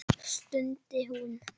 stundi hún.